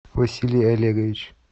василий олегович